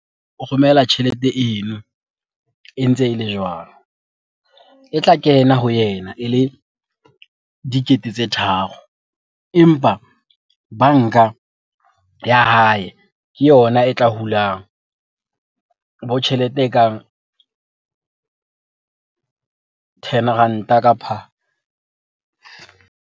O romela tjhelete eno e ntse e le jwalo. E tla kena ho yena ele dikete tse tharo. Empa banka ya hae ke yona e tla hulang bo tjhelete e kang ten ranta kapa .